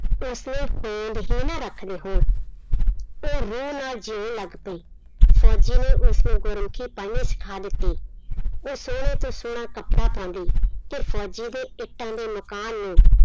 ਉਸ ਲਈ ਹੋਂਦ ਹੀ ਨਾ ਰੱਖਦੇ ਹੋਣ, ਉਹ ਰੋਹ ਨਾਲ ਜਿਉਣ ਲੱਗ ਪਈ, ਫ਼ੋਜ਼ੀ ਨੇ ਉਸਨੂੰ ਗੁਰਮੁਖੀ ਪੜ੍ਹਨੀ ਸਿਖਾ ਦਿੱਤੀ, ਉਹ ਸੋਹਣੇ ਤੋਂ ਸੋਹਣਾ ਕੱਪੜਾ ਪਾਉਂਦੀ ਤੇ ਫ਼ੋਜ਼ੀ ਦੇ ਇੱਟਾਂ ਦੇ ਮਕਾਨ ਨੂੰ